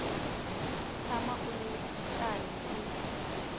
tshama u ri karhi u